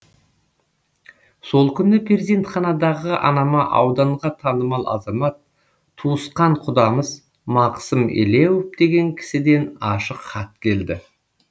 сол күні перзентханадағы анама ауданға танымал азамат туысқан құдамыз мақсым елеуов деген кісіден ашық хат келді